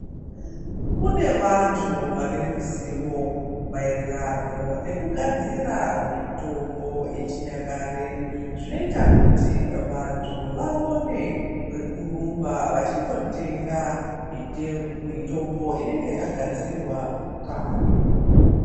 Kune vantu vane ruzivo maererano nekugadzira mitombo yechinyakare zvinoita kuti vantu vaone kwerumba vachindotenga mitombo inenge yakagadzirwa kare.